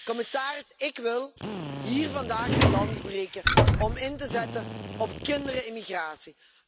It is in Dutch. Commissaris, ik wil hier vandaag een lans breken om in te zetten op kinderen in migratie.